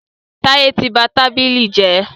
Táyẹ́ tí ba tábìlì jẹ́.